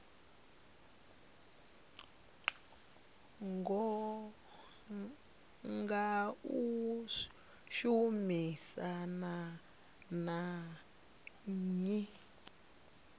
nga u shumisana na nnyi